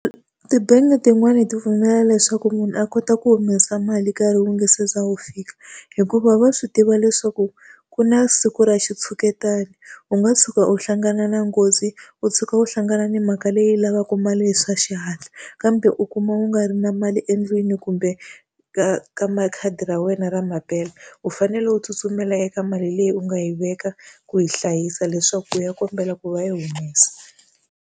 Tibangi tin'wani ti pfumela leswaku munhu a kota ku humesa mali nkarhi wu nga se za wu fika, hikuva va swi tiva leswaku ku na siku ra xitshuketana. U nga tshuka u hlangana na nghozi, u tshuka u hlangana ni mhaka leyi lavaka mali hi swa xihatla, kambe u kuma u nga ri na mali endlwini kumbe ka ka ma khadi ra wena ra mampela. U fanele u tsutsumela eka mali leyi u nga yi veka ku yi hlayisa leswaku u ya kombela ku va yi humesa.